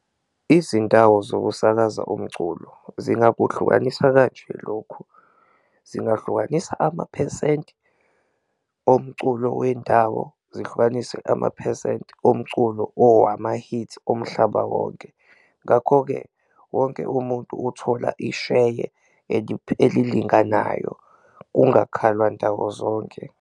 Izindawo zokusakaza umculo zingakuhlukanisa kanje lokhu, zingahlukaniswa amaphesenti omculo wendawo, zihlukaniswe amaphesenti omculo owama-hit omhlaba wonke. Ngakho-ke, wonke umuntu uthola isheye elilinganayo kungakhalwa ndawo zonke.